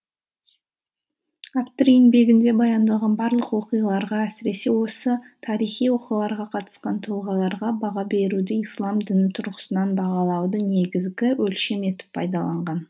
автор еңбегінде баяндалған барлық оқиғаларға әсіресе осы тарихи оқиғаларға қатысқан тұлғаларға баға беруде ислам діні тұрғысынан бағалауды негізгі өлшем етіп пайдаланған